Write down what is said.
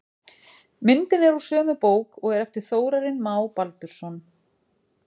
Myndin er úr sömu bók og er eftir Þórarin Má Baldursson.